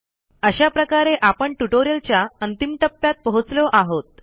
अशा प्रकारे आपण ट्युटोरियलच्या अंतिम टप्प्यात पोहोचलो आहोत